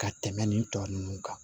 Ka tɛmɛ nin tɔ ninnu kan